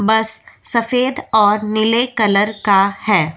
बस सफेद और नीले कलर का है।